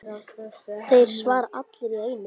Þeir svara allir í einu.